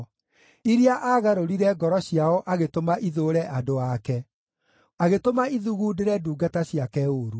iria aagarũrire ngoro ciao agĩtũma ithũũre andũ ake, agĩtũma ithugundĩre ndungata ciake ũũru.